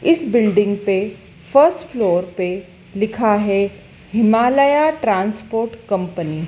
इस बिल्डिंग पे first floor पे लिखा है हिमालया ट्रांसपोर्ट कंपनी ।